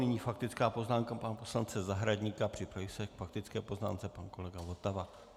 Nyní faktická poznámka pana poslance Zahradníka, připraví se k faktické poznámce pan kolega Votava.